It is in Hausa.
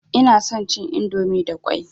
Ina son cin indomi da ƙwai.